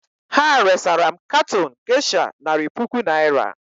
Ha resara m katon gesha nari puku naịra.